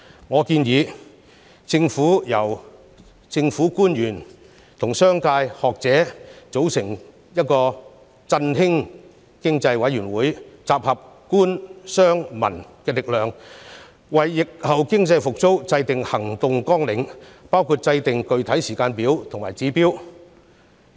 我建議政府成立由政府官員和商界、學者組成的"振興經濟委員會"，集合官、商、民的力量，為疫後經濟復蘇制訂行動綱領，包括制訂具體時間表和指標。